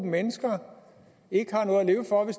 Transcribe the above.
mennesker at